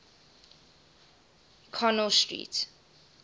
connell street